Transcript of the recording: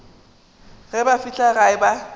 ge ba fihla gae ba